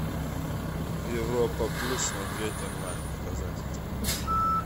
европа плюс смотреть онлайн показать